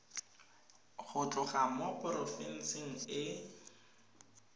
go tloga mo porofenseng e